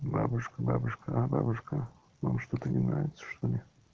бабушка бабушка бабушка вам что-то не нравится что ли